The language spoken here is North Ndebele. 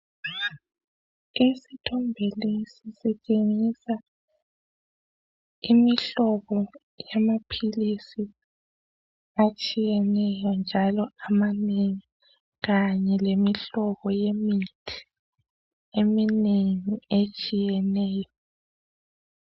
Isithombe lesi sibonisa imhlobo yamaphilisi etshiyeneyo njalo amanengi kanye lemihlobo yemithi eminengi etshiyeneyo.